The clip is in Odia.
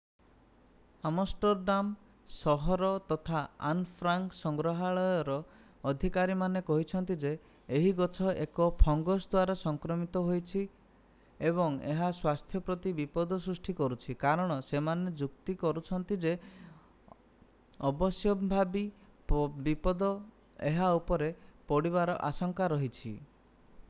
ଆମଷ୍ଟରଡାମ୍ ସହର ତଥା ଆନ୍ ଫ୍ରାଙ୍କ୍ ସଂଗ୍ରହାଳୟର ଅଧିକାରୀମାନେ କହିଛନ୍ତି ଯେ ଏହି ଗଛ ଏକ ଫଙ୍ଗସ୍ ଦ୍ଵାରା ସଂକ୍ରମିତ ହୋଇଛି ଏବଂ ଏହା ସ୍ୱାସ୍ଥ୍ୟ ପ୍ରତି ବିପଦ ସୃଷ୍ଟି କରୁଛି କାରଣ ସେମାନେ ଯୁକ୍ତି କରୁଛନ୍ତି ଯେ ଅବଶ୍ୟମ୍ଭାବୀ ବିପଦ ଏହା ଉପରେ ପଡ଼ିବାର ଆଶଂକା ରହିଛି